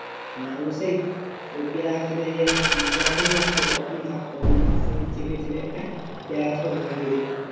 ও সেই ও পেয়ারা গাছটা যখনই আসতো তখনই চাপতো সেই চেপে চেপে পেয়ারা গাছটাকে ভেঙে দিয়েছিল